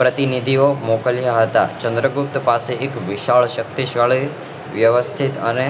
પ્રતિનિધિઓ મોકલ્યા હતા ચંદ્રગુપ્ત પાસે એક વિશાલ શક્તિશાળી વ્યવસ્થિત અને